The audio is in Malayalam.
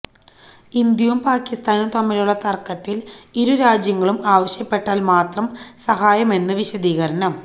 ഇന്ത്യയും പാകിസ്ഥാനും തമ്മിലുള്ള തർക്കത്തിൽ ഇരുരാജ്യങ്ങളും ആവശ്യപ്പെട്ടാൽ മാത്രം സഹായമെന്ന് വിശദീകരണം